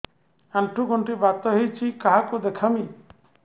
ଆଣ୍ଠୁ ଗଣ୍ଠି ବାତ ହେଇଚି କାହାକୁ ଦେଖାମି